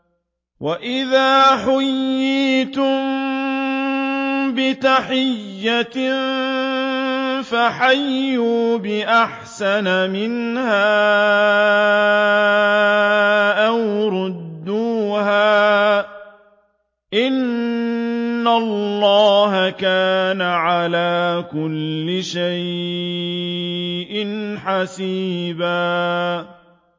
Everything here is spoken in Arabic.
وَإِذَا حُيِّيتُم بِتَحِيَّةٍ فَحَيُّوا بِأَحْسَنَ مِنْهَا أَوْ رُدُّوهَا ۗ إِنَّ اللَّهَ كَانَ عَلَىٰ كُلِّ شَيْءٍ حَسِيبًا